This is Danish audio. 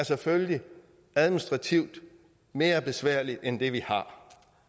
selvfølgelig er administrativt mere besværligt end det vi har